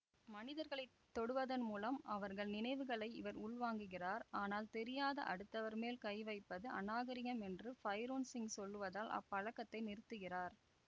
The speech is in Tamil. மனிதர்களை தொடுவதன் மூலம் அவர்கள் நினைவுகளை இவர் உள்வாங்குகிறார் ஆனால் தெரியாத அடுத்தவர் மேல் கை வைப்பது அநாகரிகம் என்று பைரோன் சிங் சொல்லுவதால் அப்பழக்கத்தை நிறுத்துகிறார்